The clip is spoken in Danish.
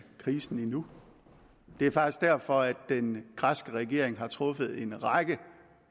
krisen endnu det er faktisk derfor at den græske regering har truffet en række